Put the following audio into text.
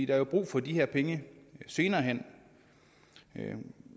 er jo brug for de her penge senere hen